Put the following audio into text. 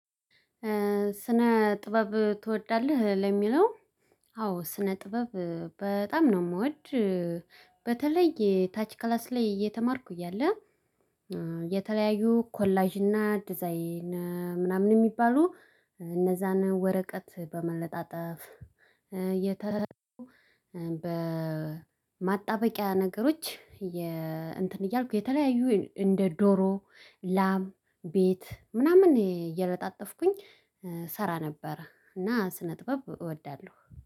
ስነ ጥበብ ትወዳለህ? ለሚለው አዎ ስነ ጥበብ በጣም ነው የምወድ በተለይ የታች ክላስ ላይ እየተማርኩ እያለ የተለያዩ ኮላጅ አዲስ አይነ ምናምን የሚባሉ እነዛን ወረቀት በመለጠፍ የተለየው በማጣበቂያ ነገሮች የ እንትን እያልኩ የተለያዩ እንደ ዶሮ ላም ቤት ምናምን እየለጣጠፍኩኝ ሰራ ነበር እና ስነ ጥበብ እወዳለሁ